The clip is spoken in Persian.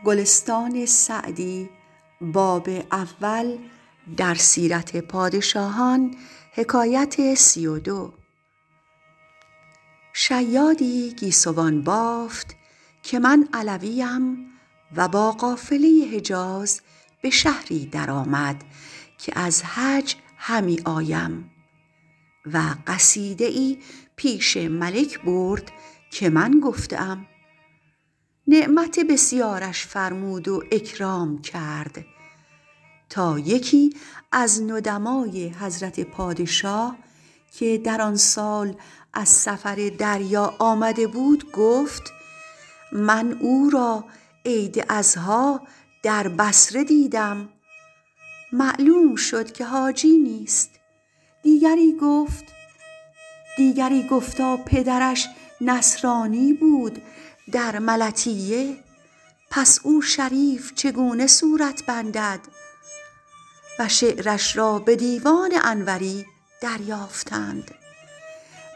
شیادی گیسوان بافت که من علویم و با قافله حجاز به شهری در آمد که از حج همی آیم و قصیده ای پیش ملک برد که من گفته ام نعمت بسیارش فرمود و اکرام کرد تا یکی از ندمای حضرت پادشاه که در آن سال از سفر دریا آمده بود گفت من او را عید اضحیٰ در بصره دیدم معلوم شد که حاجی نیست دیگری گفتا پدرش نصرانی بود در ملطیه پس او شریف چگونه صورت بندد و شعرش را به دیوان انوری دریافتند